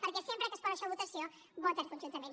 perquè sempre que es posa això a votació voten conjuntament